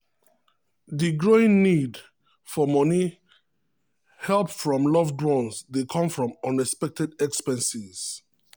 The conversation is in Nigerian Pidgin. di growing need for money help from loved ones dey come from unexpected expenses.